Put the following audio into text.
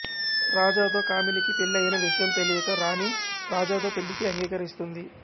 రాజాతో కామినికి పెళ్ళి అయిన విషయం తెలియక రాణి రాజాతో పెళ్ళికి అంగీకరిస్తుంది